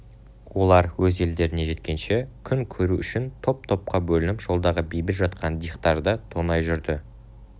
олар өз елдеріне жеткенше күн көру үшін топ-топқа бөлініп жолдағы бейбіт жатқан дихтарды тонай жүрді